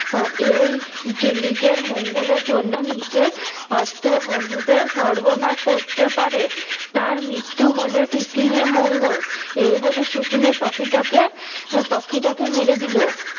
আহ এই যে নিজের মঙ্গলের জন্য নিজের অত্তের বন্ধুদের সর্বনাশ করতে পারে তার মৃত্যু হলে পৃথিবীর মঙ্গোল এ বলে সকুনি পাখিটাকে পাখিটাকে মেরে দিলো।